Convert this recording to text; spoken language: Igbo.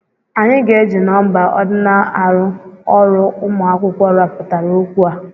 Anyị ga-eji nọmba ordinal arụ ọrụ ụmụ akwụkwọ rụpụtara okwu a.